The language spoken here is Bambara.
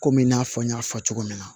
Komi i n'a fɔ n y'a fɔ cogo min na